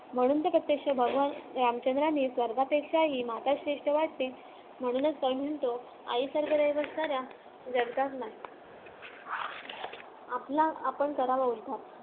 म्हणून तर प्रत्यक्ष भगवान रामचंद्रांनी स्वर्गापेक्षाही माता माता श्रेष्ठ वाटते म्हणूनच तो म्हणतो आईसारखं दैवत साऱ्या जगात नाही आपला आपण करावा उद्धार